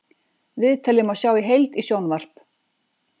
Viðtalið má sjá í heild í sjónvarp